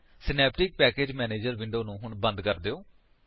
Synaptic package manager window ਨੂੰ ਹੁਣ ਬੰਦ ਕਰ ਦਿਓ